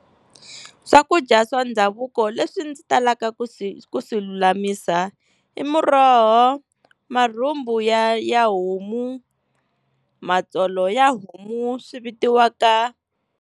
Swakudya swa ndhavuko leswi ndzi talaka ku swi ku swi lulamisa i muroho, marhumbu ya ya homu, matsolo ya homu swi vitiwaka.